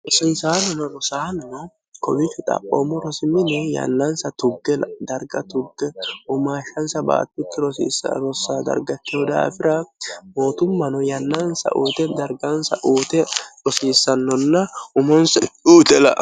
rosiisaannono rosaanno kowid xaphoommo rosimino yannaansa tugge darga tugge umaashshansa baattuti sirossa dargattino daafira mootummano yannaansa uute dargansa uute rosiissannonna umonsa uuxe lao